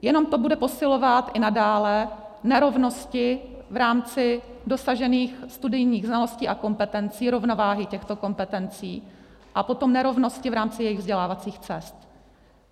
Jenom to bude posilovat i nadále nerovnosti v rámci dosažených studijních znalostí a kompetencí, rovnováhy těchto kompetencí a potom nerovnosti v rámci jejich vzdělávacích cest.